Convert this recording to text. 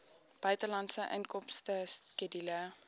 buitelandse inkomste skedule